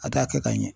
A t'a kɛ ka ɲɛ